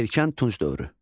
Erkən Tunc dövrü.